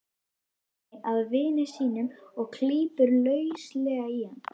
Svenni að vini sínum og klípur lauslega í hann.